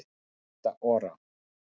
Rita Ora